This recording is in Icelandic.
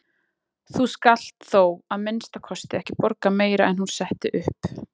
Þú skalt þó að minnsta kosti ekki borga meira en hún setti upp.